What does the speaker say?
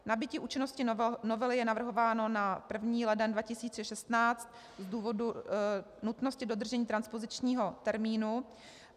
Nabytí účinnosti novely je navrhováno na 1. leden 2016 z důvodu nutnosti dodržení transpozičního termínu.